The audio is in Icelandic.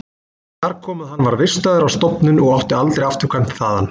Þar kom að hann var vistaður á stofnun og átti aldrei afturkvæmt þaðan.